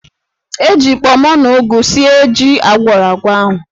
E ji kpọmọ na ụgụ sie jí agwọrọ agwọ ahụ.